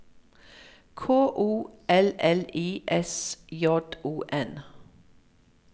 K O L L I S J O N